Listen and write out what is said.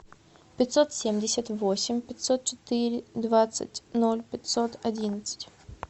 пятьсот семьдесят восемь пятьсот четыре двадцать ноль пятьсот одиннадцать